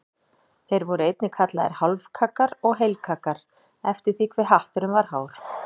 Þeir voru einnig kallaðir hálfkaggar og heilkaggar eftir því hve hatturinn var hár.